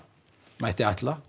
mætti ætla